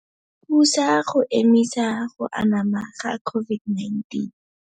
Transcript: Thusa go emisa go anama ga COVID-19.